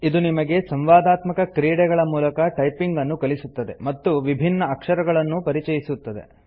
ಇದು ನಿಮಗೆ ಸಂವಾದಾತ್ಮಕ ಕ್ರೀಡೆಗಳ ಮೂಲಕ ಟೈಪಿಂಗ್ ಅನ್ನು ಕಲಿಸುತ್ತದೆ ಮತ್ತು ವಿಭಿನ್ನ ಅಕ್ಷರಗಳನ್ನೂ ಪರಿಚಯಿಸುತ್ತದೆ